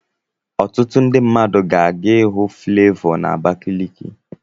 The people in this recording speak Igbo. Ọtụtụ mmadụ ga-aga ịhụ Flevọ na Abakaliki.